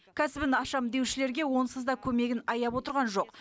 кәсібін ашамын деушілерге онсыз да көмегін аяп отырған жоқ